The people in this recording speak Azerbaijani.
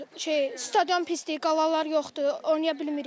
Şey stadion pisdir, qalar yoxdur, oynaya bilmirik.